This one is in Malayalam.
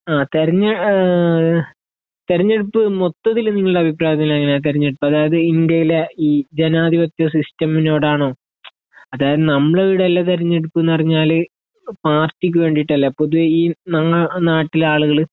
ആ തിരഞ്ഞ തിരഞ്ഞെടുപ്പ് മൊത്തത്തില് നിങ്ങളുടെ അഭിപ്രായത്തില് എങ്ങനെയാ തിരഞ്ഞെടുപ്പ് അതായത് ഇന്ത്യയിലെ ഈ ജനാധിപത്യ സിസ്റ്റെമിനോട് ആണോ അതായത് നമ്മളെ ഇവിടെ ഉള്ള തിരഞ്ഞെടുപ്പ് എന്ന് പറഞ്ഞാല് പാർട്ടിക്ക് വേണ്ടീട്ട് അല്ലേ പൊതുവേ ഈ നാട്ടിലുള്ള ആളുകള്